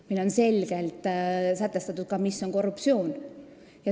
Meil on selgelt sätestatud ka see, mis on korruptsioon.